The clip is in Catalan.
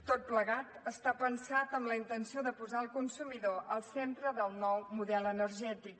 tot plegat està pensat amb la intenció de posar el consumidor al centre del nou model energètic